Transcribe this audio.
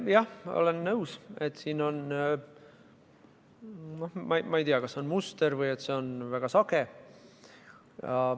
Jah, olen nõus, et siin on, ma ei tea, tegemist mustriga või et see on väga sage.